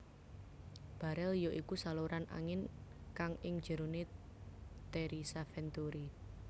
Barel ya iku saluran angin kang ing jerone terisa venturi